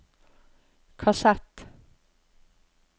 kassett